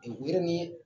ni